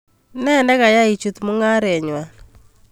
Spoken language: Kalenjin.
Enee nekayai ichuut mung'arenywan?